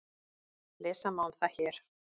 Lesa má um það hér.